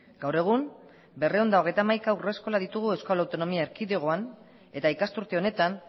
gaur egun berrehun eta hogeita hamaika haurreskola ditugu euskal autonomia erkidegoan eta ikasturte honetan